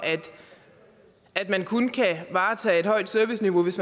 at man kun kan varetage et højt serviceniveau hvis